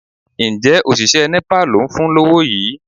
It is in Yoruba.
Ǹjẹ́ òṣìṣẹ́ Nepa ló ń fún lówó yìí?